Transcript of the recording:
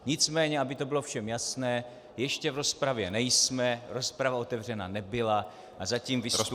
Nicméně aby to bylo všem jasné, ještě v rozpravě nejsme, rozprava otevřena nebyla a zatím vystupujeme -